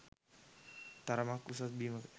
තරමක් උස බිමක.